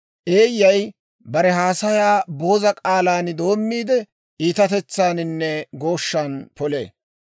Eeyyay bare haasayaa booza k'aalan doommiide, iitatetsaaninne gooshshan polee.